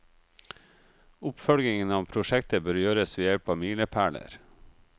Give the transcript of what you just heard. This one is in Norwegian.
Oppfølgingen av prosjektet bør gjøres ved hjelp av milepæler.